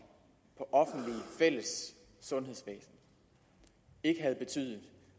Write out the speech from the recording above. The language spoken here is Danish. fælles sundhedsvæsen ikke havde betydet